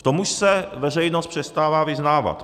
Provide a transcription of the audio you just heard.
V tom už se veřejnost přestává vyznávat.